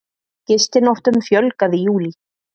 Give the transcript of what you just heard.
Gistinóttum fjölgaði í júlí